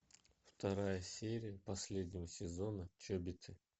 вторая серия последнего сезона чобиты